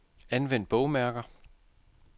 Anvend bogmærker.